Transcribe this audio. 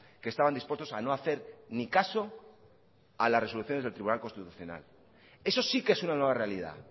que estaban dispuestos a no hacer ni caso a las resoluciones del tribunal constitucional eso sí que es una nueva realidad